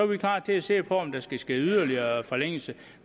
vi klar til at se på om der skal ske yderligere forlængelse